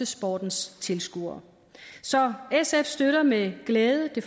sportens tilskuere så sf støtter med glæde det